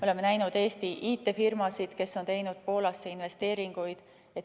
Oleme näinud Eesti IT‑firmasid, kes on teinud Poolasse investeeringuid.